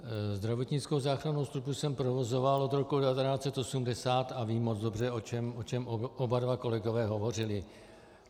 Zdravotnickou záchrannou službu jsem provozoval od roku 1980 a vím moc dobře, o čem oba dva kolegové hovořili.